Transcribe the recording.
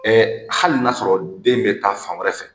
hali n'a sɔrɔ den bɛ taa fan wɛrɛ fɛ,